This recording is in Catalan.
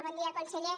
bon dia conseller